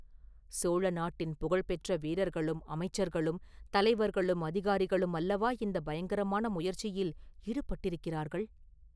சோழ நாட்டின் புகழ்பெற்ற வீரர்களும் அமைச்சர்களும் தலைவர்களும் அதிகாரிகளும் அல்லவா இந்தப் பயங்கரமான முயற்சியில் ஈடுபட்டிருக்கிறார்கள்?